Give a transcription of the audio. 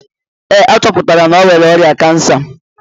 Ee, a chọpụtara na o nwere ọrịa kansa